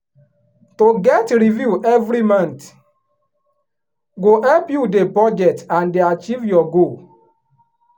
to get review every month go help you dey budget and dey achieve your goal.